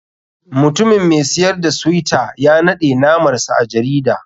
Mutumin mai siyar da suyta ya naɗe namar sa a jarida.